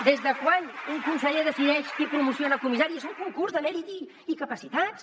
des de quan un conseller decideix qui promociona a comissari és un concurs de mèrits i capacitats